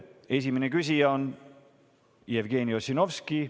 Esimene küsija on Jevgeni Ossinovski.